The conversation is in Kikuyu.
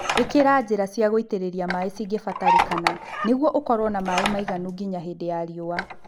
Ĩkĩra njĩra cia gũitĩrĩria maĩĩ cingĩbatarĩkana nĩguo ũkorwo na maĩĩ maiganu nginya hĩndĩ ya riũa